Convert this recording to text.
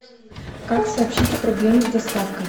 как сообщить о проблеме с доставкой